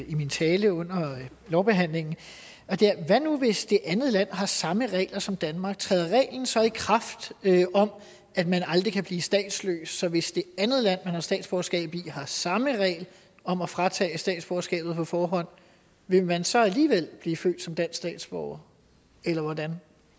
i min tale under lovbehandlingen det er hvad nu hvis det andet land har samme regler som danmark træder reglen så i kraft om at man aldrig kan blive statsløs så hvis det andet land har statsborgerskab i har samme regel om at fratage statsborgerskabet på forhånd vil man så alligevel blive født som dansk statsborger eller hvordan